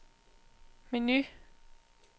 menu